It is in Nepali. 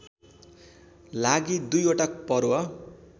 लागि दुईवटा पर्व